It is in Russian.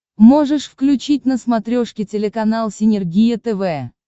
можешь включить на смотрешке телеканал синергия тв